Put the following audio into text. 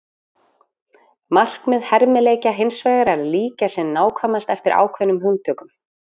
Markmið hermileikja hins vegar er að líkja sem nákvæmast eftir ákveðnum hugtökum.